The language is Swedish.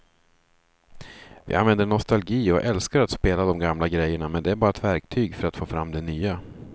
Vi använder nostalgi och älskar att spela de gamla grejerna men det är bara ett verktyg för att få fram det nya.